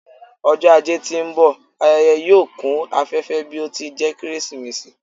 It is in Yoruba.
Ọjọ ajé ti n bọ, ayẹyẹ yoo kun afẹfẹ bi o ti jẹ Keresimesi